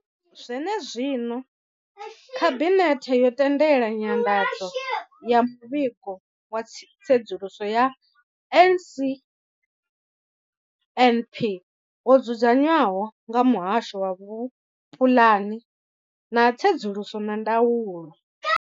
Zwenezwino, khabinethe yo tendela nyanḓadzo ya muvhigo wa tsedzuluso ya NSNP wo dzudzanywaho nga muhasho wa vhupulani, tsedzuluso na ndaulo.